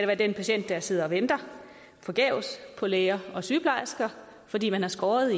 være den patient der sidder og venter forgæves på læger og sygeplejersker fordi man har skåret